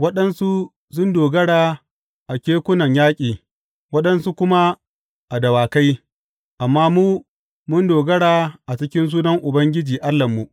Waɗansu sun dogara a kekunan yaƙi waɗansu kuma a dawakai, amma mu, mun dogara a cikin sunan Ubangiji Allahnmu.